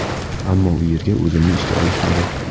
Ammo u yerga o‘zimni ishga olishmadi.